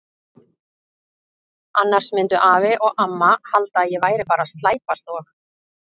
Annars myndu afi og amma halda að ég væri bara að slæpast og.